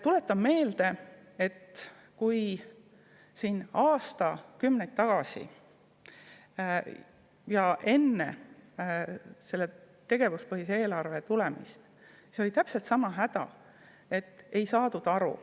Tuletan meelde, et aastakümneid tagasi, enne tegevuspõhist eelarvet oli täpselt sama häda, et ei saadud aru.